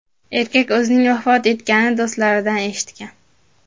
Erkak o‘zining vafot etganini do‘stlaridan eshitgan.